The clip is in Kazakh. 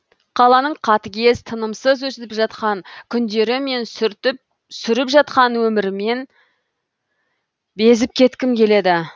қаланың қатыгез тынымсыз өтіп жатқан күндері мен сүріп жатқан өмірімнен безіп кеткім келеді